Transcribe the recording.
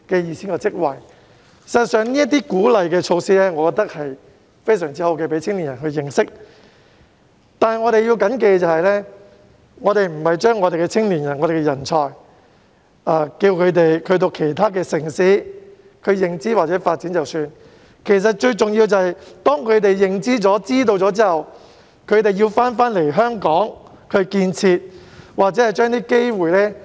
事實上，我認為這些鼓勵措施非常好，能夠讓青年人認識內地，但我們要緊記，我們並非叫我們的青年人和人才前往其他城市認知或發展便算，最重要的是當他們有了認知後，回來香港建設或發揮機會。